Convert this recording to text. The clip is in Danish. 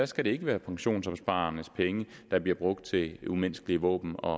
skal være pensionsopsparernes penge der bliver brugt til umenneskelige våben og